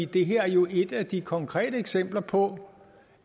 det her er jo et af de konkrete eksempler på